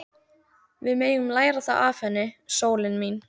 Við megum læra það af henni, sólin mín.